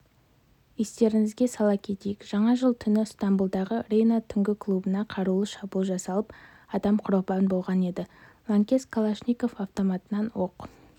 естеріңізге сала кетейік жаңа жыл түні ыстамбұлдағы рейна түнгі клубына қарулы шабуыл жасалып адам құрбан болған еді лаңкес калашников автоматынан оқ